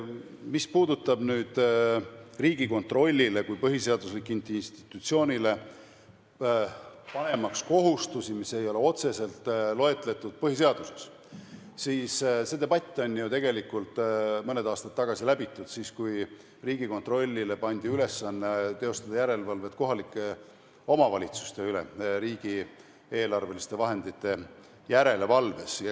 Mis puudutab nüüd seda, kas Riigikontrollile kui põhiseaduslikule institutsioonile panna kohustusi, mis ei ole otseselt loetletud põhiseaduses, siis see debatt on ju tegelikult mõned aastad tagasi läbitud – siis, kui Riigikontrollile pandi ülesanne teostada järelevalvet kohalike omavalitsuste üle riigieelarveliste vahendite järelevalves.